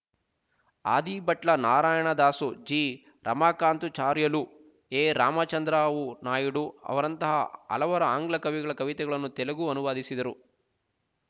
Adibhatla Narayanadasu G Ramakanthacharyulu A Ramachandrarao Naidu ಅವರಂತಹ ಹಲವರ ಆಂಗ್ಲ ಕವಿಗಳ ಕವಿತೆಗಳನ್ನು ತೆಲುಗು ಅನುವಾದಿಸಿದರು